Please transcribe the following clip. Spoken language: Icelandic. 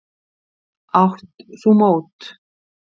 Átt þú mót?